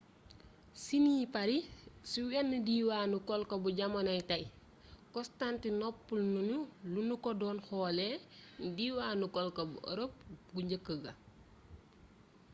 ci ni paris siiwee ne diwaanu colko bu jamonoy tey constantinople noonu lanu ko doon xoolee ne diwaanu colko bu ërop gu njëkk ga